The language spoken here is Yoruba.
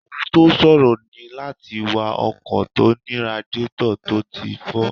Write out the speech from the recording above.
Ohun tó ṣòro ní láti wa ọkọ̀ tó ní radiétọ̀ tó ti fọ́